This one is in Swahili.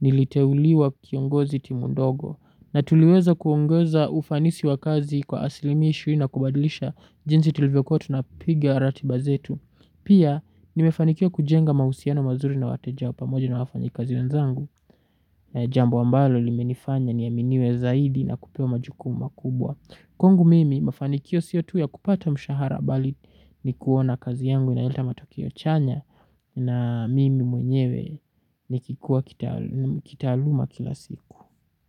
niliteuliwa kiongozi timu ndogo na tuliweza kuongeza ufanisi wa kazi kwa asilimia ishirini na kubadilisha jinsi tulivyo kuwa tunapiga ratiba zetu. Pia nimefanikiwa kujenga mausiano mazuri na wateja pamoja na wafanyikazi wenzangu na jambo ambalo limenifanya niaminiwe zaidi na kupewa majukumu makubwa. Kwangu mimi mafanikio sio tu ya kupata mshahara bali ni kuona kazi yangu inaleta matokeo chanya na mimi mwenyewe ni kikuwa kitaaluma kila siku.